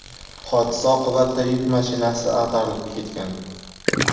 Hodisa oqibatida yuk mashinasi ag‘darilib ketgan.